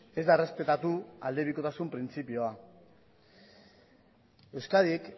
ez da errespetatu aldebikotasun printzipioa euskadik